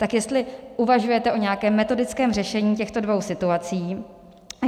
Tak jestli uvažujete o nějakém metodickém řešení těchto dvou situací.